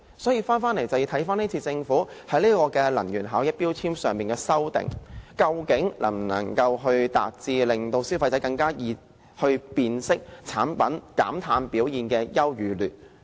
所以，我們要考慮政府今次對《能源效益條例》的修訂，究竟能否達致令消費者更容易辨識產品減碳表現的優與劣。